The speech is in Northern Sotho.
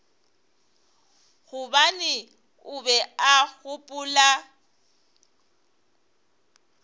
gobane o be a gopola